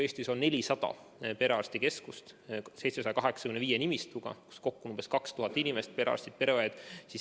Eestis on 400 perearstikeskust 785 nimistuga, kokku on umbes 2000 inimest – perearstid, pereõed.